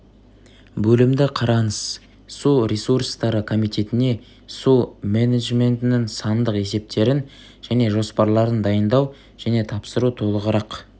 бөлімді қараңыз су ресурстары комитетіне су менджментінің сандық есептерін және жоспарларын дайындау және тапсыру толығырақ